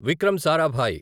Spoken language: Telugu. విక్రమ్ సారాభాయ్